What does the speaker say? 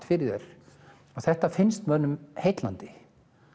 fyrir þér þetta finnst mönnum heillandi